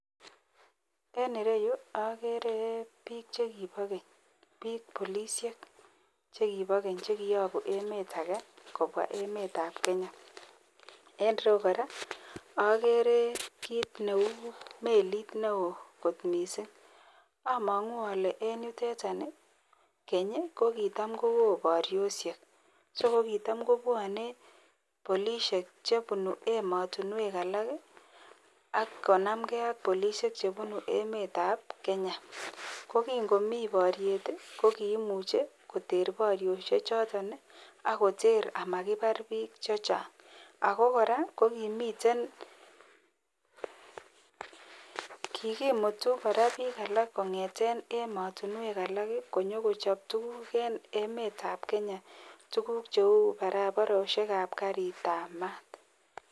En ireyuu okere bik chekibo keny bik polishek chekibo keny chekiyobu emet age kobwa emetab Kenya. En irou Koraa okere kit neu melit neo kot missing, omongu ole en yutet kenyi ko kitam kowo borioshek so ko kitam kobwone polishek chebunu emotinwek alak kii ak konamgee ak polishek chebunu emetab Kenya. Kokin komii boryet tii ko kimuche koter borioshek choton nii ak koter amakibar bik chechang. Ako koraa ko kimiten kokimitu Koraa bik alak kongeten emotunwek alak kii konyo kochob tukuk en emetab Kenya tukuk cheu barabaroshekab karitab mat.